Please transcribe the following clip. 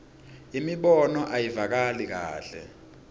imibono ayivakali kahle